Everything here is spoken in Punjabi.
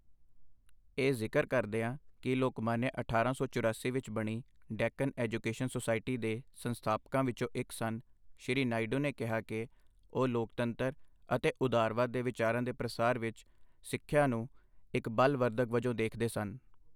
ਇਹ ਜ਼ਿਕਰ ਕਰਦੀਆਂ ਕਿ ਲੋਕਮਾਨਯ ਅਠਾਰਾਂ ਸੌ ਚੁਰਾਸੀ ਵਿੱਚ ਬਣੀ ਡੈੱਕਨ ਐਜੂਕੇਸ਼ਨ ਸੋਸਾਇਟੀ ਦੇ ਸੰਸਥਾਪਕਾਂ ਵਿਚੋਂ ਇੱਕ ਸਨ, ਸ਼੍ਰੀ ਨਾਇਡੂ ਨੇ ਕਿਹਾ ਕਿ ਉਹ ਲੋਕਤੰਤਰ ਅਤੇ ਉਦਾਰਵਾਦ ਦੇ ਵਿਚਾਰਾਂ ਦੇ ਪ੍ਰਸਾਰ ਵਿੱਚ ਸਿੱਖਿਆ ਨੂੰ ਇੱਕ ਬਲ ਵਰਧਕ ਵਜੋਂ ਦੇਖਦੇ ਸਨ।